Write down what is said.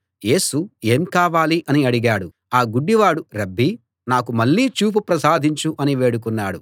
యేసు ఏం కావాలి అని అడిగాడు ఆ గుడ్డివాడు రబ్బీ నాకు మళ్లీ చూపు ప్రసాదించు అని వేడుకున్నాడు